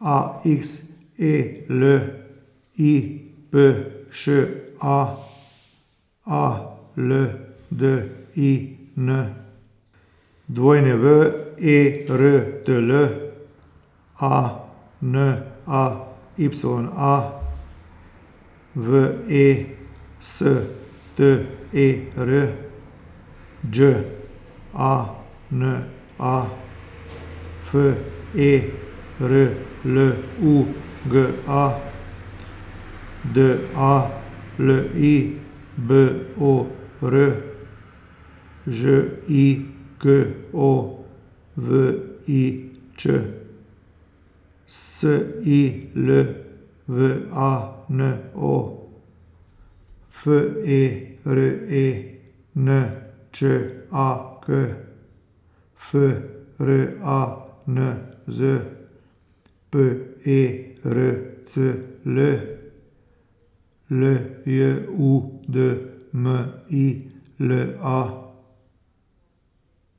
A X E L, I P Š A; A L D I N, W E R T L; A N A Y A, V E S T E R; Đ A N A, F E R L U G A; D A L I B O R, Ž I K O V I Ć; S I L V A N O, F E R E N Č A K; F R A N Z, P E R C L; L J U D M I L A,